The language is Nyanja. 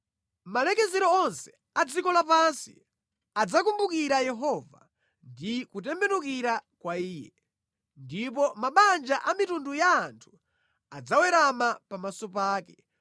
Malekezero onse a dziko lapansi adzakumbukira Yehova ndi kutembenukira kwa Iye, ndipo mabanja a mitundu ya anthu adzawerama pamaso pake,